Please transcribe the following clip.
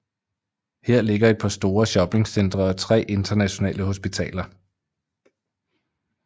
Her ligger et par store shopping centre og tre internationale hospitaler